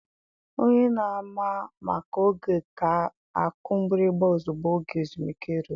Onye na-ama maka oge ga-akụ mgbịrịgba ozugbo oge ezumike ruru.